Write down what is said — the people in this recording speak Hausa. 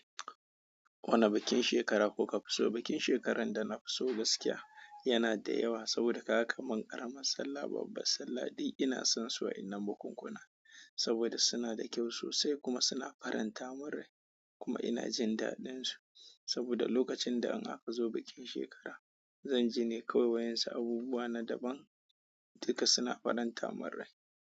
Wane bikin shekara kuka fi so? Bikin shekarar da na fi so gaskiya yana da yawa saboda kaga kaman karama sallah. Babbar sallah duk ina son su a wa'yannan bukunkuna saboda suna da kyau sosai kuma suna faranta mun rai kuma ina jin dadin su. Saboda lokacin da an haka zo bikin shekara, zan ji ne kawai wa'yan su abubuwa na daban duka suna faranta mun rai.